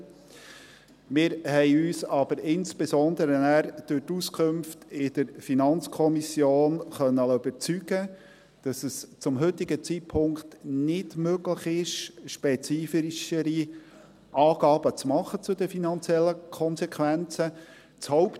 Wir haben uns nachher aber insbesondere durch die Auskünfte in der FiKo überzeugen lassen können, dass es zum heutigen Zeitpunkt nicht möglich ist, spezifischere Angaben zu den finanziellen Konsequenzen zu machen.